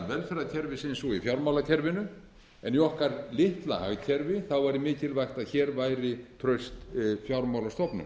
velferðarkerfisins og í fjármálakerfinu en í okkar litla hagkerfi væri mikilvægt að hér væri traust fjármálastofnun